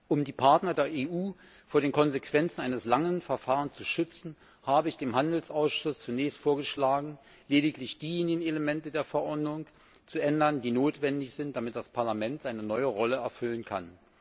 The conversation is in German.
Um die Partner der EU vor den Konsequenzen eines langen Verfahrens zu schützen, habe ich dem Handelsausschuss zunächst vorgeschlagen, lediglich diejenigen Elemente der Verordnung zu ändern, die notwendig sind, damit das Parlament seine neue Rolle erfüllen kann.